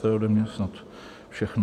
To je ode mě snad všechno.